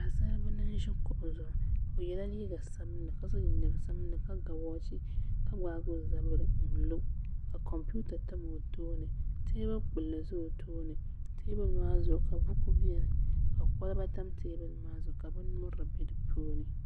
Paɣasaribili n ʒi kuɣu zuɣu o yɛla liiga sabinli ka so jinjɛm sabinli ka ga woochi ka gbaagi o zabiri n lo ka kompiuta tam o tooni teebuli kpulli ʒɛ o tooni teebuli maa zuɣu ka buku biɛni ka kolba tam teebuli maa zuɣu ka bin nyurili bɛ dipuuni